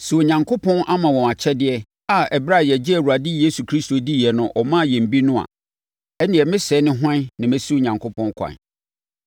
Sɛ Onyankopɔn ama wɔn akyɛdeɛ a ɛberɛ a yɛgyee Awurade Yesu Kristo diiɛ no ɔmaa yɛn bi no a, ɛnneɛ me sɛɛ ne hwan a mɛsi Onyankopɔn kwan.”